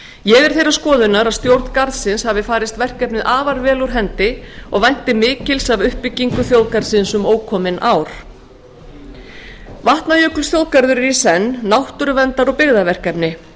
ég er þeirrar skoðunar að stjórn garðsins hafi farist verkefnið afar vel úr hendi og vænti mikils af uppbyggingu þjóðgarðsins um ókomin ár vatnajökulsþjóðgarður er í senn náttúruverndar og byggðaverkefni